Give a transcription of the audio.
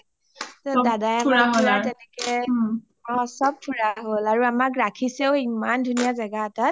দাদাই আমাক পুৰা তেনেকে অ চব ফুৰা হ’ল আৰু আমাক ৰাখিছেও ইমান ধুনীয়া জেগা এটাত